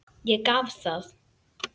Ég gaf það.